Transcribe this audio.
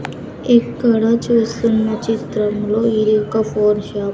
ఇక్కడ చూస్తున్న చిత్రం లో ఇది ఒక ఫోన్ షాప్ .